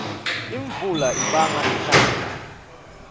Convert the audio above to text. imvula ibanga inala